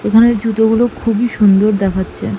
ওখানের জুতোগুলো খুবই সুন্দর দেখাচ্ছে।